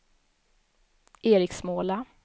Eriksmåla